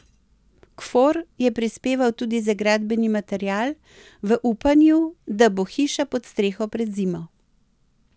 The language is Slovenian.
Kfor je prispeval tudi za gradbeni material v upanju, da bo hiša pod streho pred zimo.